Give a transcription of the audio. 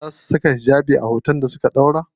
Za su saka hijabi a hoton da za su ɗora?